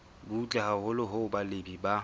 butle haholo hoo balemi ba